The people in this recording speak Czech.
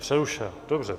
Přerušila, dobře.